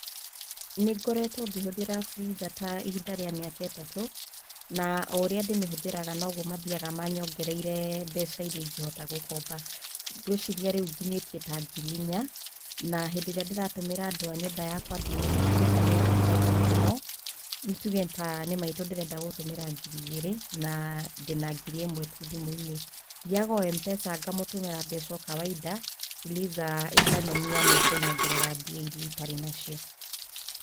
Nĩ ngoretwo ngĩhũthĩra Fuliza ta ihinda rĩa mĩaka ĩtatũ na ũrĩa ndĩ mĩhũthĩraga noguo mathiaga manyongereire mbeca iria ingĩhota gũkomba. Ngwĩciria rĩu nginyĩtie ta ngiri inya na hĩndĩ ĩrĩa ndĩratũmĩra andũ a nyũmba ya kwa thimũ rĩ ,Fuliza nĩ ĩndeithagia mũno, nĩ tuge nĩ ta maitũ ndĩrenda gũtũmĩra ngiri igĩrĩ na ndĩna ngiri ĩmwe tu thimũ-inĩ, thiaga o Mpesa ngamũtũmĩra mbeca o kawaida Fuliza ĩkanyonia nĩ ĩkũnyongerera mbia iria itarĩ nacio.